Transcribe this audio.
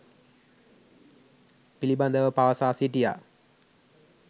පිලිබදව පවසා සිටියා.